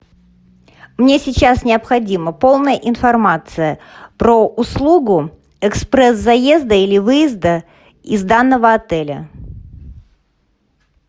мне сейчас необходима полная информация про услугу экспресс заезда или выезда из данного отеля